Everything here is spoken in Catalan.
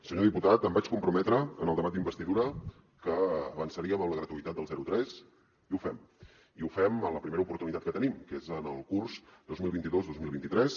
senyor diputat em vaig comprometre en el debat d’investidura que avançaríem en la gratuïtat del zero tres i ho fem i ho fem en la primera oportunitat que tenim que és en el curs dos mil vint dos dos mil vint tres